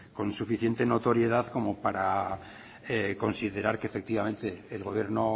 con suficiente notoriedad como para considerar que efectivamente el gobierno